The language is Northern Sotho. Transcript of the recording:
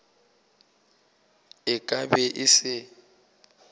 e ka be e se